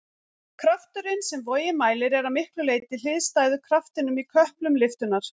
Krafturinn sem vogin mælir er að miklu leyti hliðstæður kraftinum í köplum lyftunnar.